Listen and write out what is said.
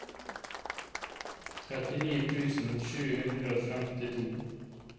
trettini tusen sju hundre og femtito